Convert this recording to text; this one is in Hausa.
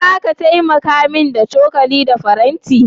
Zaka taimaka min da cokali da faranti?